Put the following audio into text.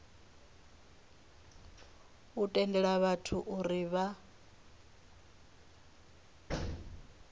u tendela vhathu uri vha